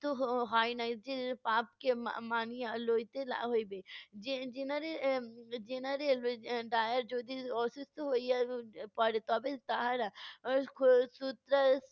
হয়নাই যে পাপকে মানিয়া লইতে লা হইবে। gene~ general যদি অসুস্থ হইয়া পড়ে তবে তাহারা